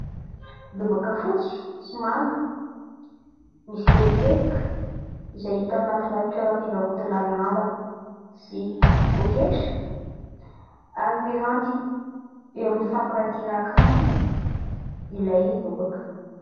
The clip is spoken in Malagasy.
Lobaka fotsy sy manga misy teboteboka izay hita ao anatina toeram-pivarotana lamba sy poketra ary miranty eo amin'ny fampirantiana akanjo ilay lobaka.